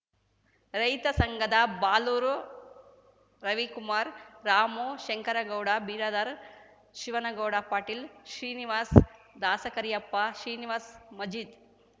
ರೈತ ಸಂಘದ ಬಾಲೂರು ರವಿಕುಮಾರ್ ರಾಮು ಶಂಕರಗೌಡ ಬಿರಾದಾರ್ ಶಿವನಗೌಡ ಪಾಟೀಲ್‌ ಶ್ರೀನಿವಾಸ್ ದಾಸಕರಿಯಪ್ಪ ಶ್ರೀನಿವಾಸ್ ಮಜಿದ್‌